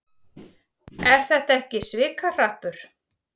Er þetta ekki svikahrappur?